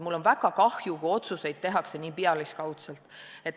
Mul on väga kahju, kui otsuseid tehakse nii pealiskaudselt.